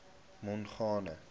mongane